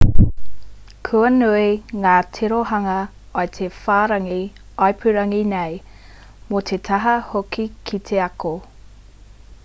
kua nui ngā tirohanga o te whārangi ipurangi nei mō te taha hoki ki te ako